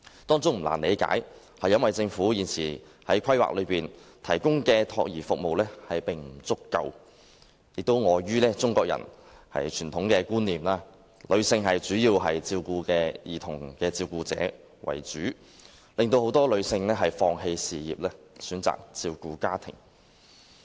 當中原因不難理解，因為政府現時提供的託兒服務不足，亦礙於中國人的傳統觀念，兒童主要由女性照顧，令很多女性放棄事業，選擇照顧家庭。